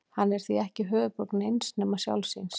Hann er því ekki höfuðborg neins nema sjálfs sín.